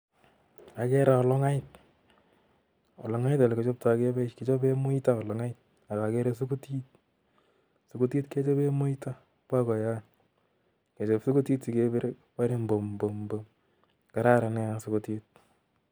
Agere olong'ait, olog'ait ole kichaptai kechabe muita.ak agere sugutit, sugutit ole kichaptai kechabe muito at bakoiyot. ngechab sugutit sigebir kobarei mbum mbum mbum. Kararan nea sugutit.